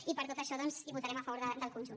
i per tot això doncs votarem a favor del conjunt